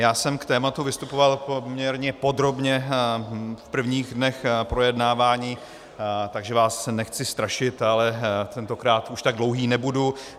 Já jsem k tématu vystupoval poměrně podrobně v prvních dnech projednávání, takže vás nechci strašit, ale tentokrát už tak dlouhý nebudu.